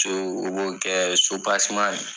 To o b'o kɛ